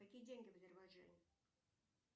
какие деньги в азербайджане